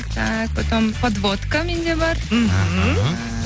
так потом подводка менде бар мхм